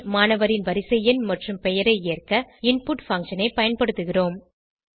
பின் மாணவரின் வரிசைஎண் மற்றும் பெயரை ஏற்க இன்புட் பங்ஷன் ஐ பயன்படுத்துகிறோம்